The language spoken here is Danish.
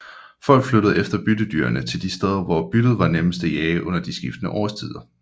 Folk flyttede efter byttedyrene til de steder hvor byttet var nemmest at jage under de skiftende årstider